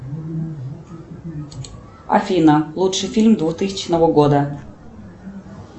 афина лучший фильм двухтысячного года